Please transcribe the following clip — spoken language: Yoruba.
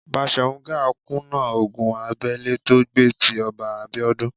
Baṣòrun Gáà kùnà ogun abẹ́lé tó gbé tí Ọba Abíọ́dún.